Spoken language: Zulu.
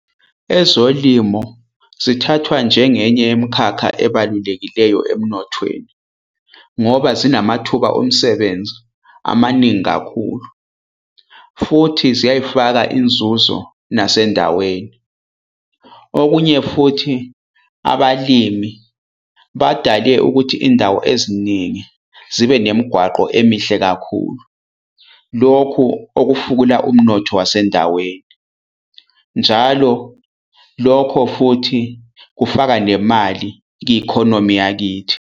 Ezolimo zithathwa njengenye yemikhakha ebalulekileyo emnothweni, ngoba zinamathuba omsebenzi amaningi kakhulu futhi ziyayifaka inzuzo nasendaweni. Okunye futhi, abalimi badale ukuthi indawo eziningi zibe nemigwaqo emihle kakhulu. Lokhu okufukula umnotho wasendaweni. Njalo lokho futhi kufaka nemali ki-economy yakithi.